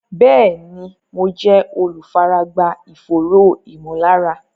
Bẹ́ẹ̀ni, mo jẹ́ olùfaragbá ìfòòró ìmọ̀lára